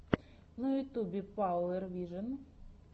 на ютьюбе пауэр вижен